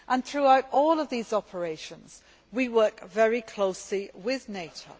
Throughout all of these operations we work very closely with NATO.